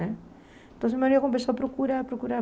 Né então meu marido começou a procurar, procurar.